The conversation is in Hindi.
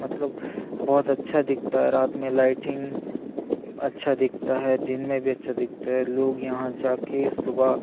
मतलब बहुत अच्छा दिखता है रात में लाइटिंग अच्छा दिखता है दिन में भी अच्छा दिखता है लोग यहाँ जाके सुबह --